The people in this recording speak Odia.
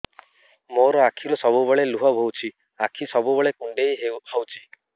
ମୋର ଆଖିରୁ ସବୁବେଳେ ଲୁହ ବୋହୁଛି ଆଖି ସବୁବେଳେ କୁଣ୍ଡେଇ ହଉଚି